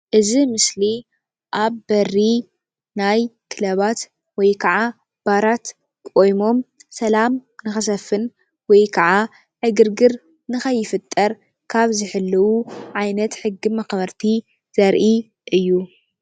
እዚ ምስሊ ኣብ በሪ ናይ ክለባት ወይ ከዓ ባራት ቆይሞም ሰላም ንኽሰፍን ወይከዓ ዕግርግር ንኸይፍጠር ካብ ዝሕልው ዓይነት ሕጊ መኽበርቲ ዘርኢ እዩ፡፡